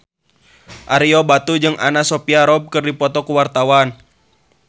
Ario Batu jeung Anna Sophia Robb keur dipoto ku wartawan